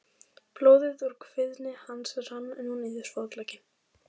Blóðið úr kviði hans rann nú niður fótlegginn.